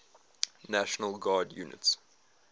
national guard units